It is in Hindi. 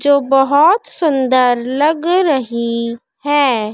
जो बहुत सुंदर लग रही है।